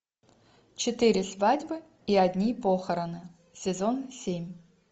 четыре свадьбы и одни похороны сезон семь